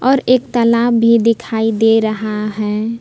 और एक तालाब भी दिखाई दे रहा है।